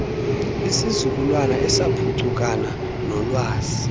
isizukulwana esaphuncukana noolwazi